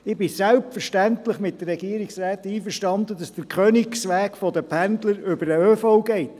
Ich bin selbstverständlich mit der Regierungsrätin einverstanden, dass der Königsweg der Pendler über den ÖV geht.